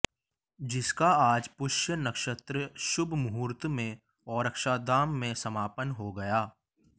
जिसका आज पुष्य नक्षत्र शुभमुहुर्त में ओरछाधाम में समापन हो गया